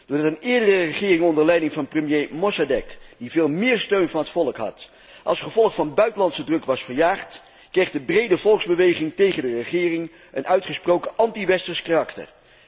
Doordat een eerdere regering onder leiding van premier Mossadeq, die veel meer steun van het volk had, als gevolg van buitenlandse druk was verjaagd, kreeg de brede volksbeweging tegen de regering een uitgesproken antiwesters karakter.